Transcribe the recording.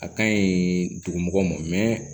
A ka ɲi dugumɔgɔw ma